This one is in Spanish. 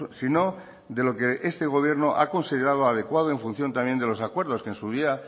sino de lo que este gobierno ha considerado adecuado en función también de los acuerdos que en su día